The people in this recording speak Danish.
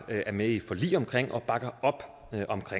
er med i et forlig om og bakker op om